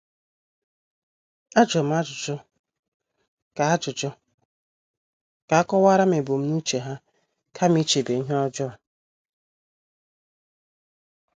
Ajurum ajụjụ ka ajụjụ ka akowaram ebumnuche ha kama ichebe ihe ọjọọ.